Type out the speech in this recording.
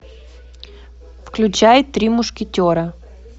включай три мушкетера